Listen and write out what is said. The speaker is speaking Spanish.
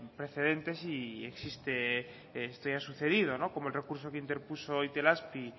precedentes y existe esto ya ha sucedido como el recurso que interpuso itelazpi